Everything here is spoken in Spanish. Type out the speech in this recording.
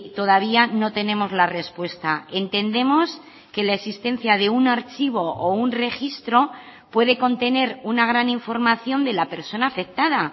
todavía no tenemos la respuesta entendemos que la existencia de un archivo o un registro puede contener una gran información de la persona afectada